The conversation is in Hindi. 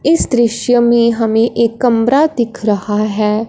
इस दृश्य में हमें एक कमरा दिख रहा है।